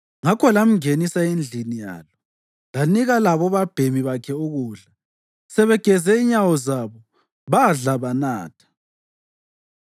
Ngakho lamngenisa endlini yalo, lanika labobabhemi bakhe ukudla. Sebegeze inyawo zabo, badla banatha.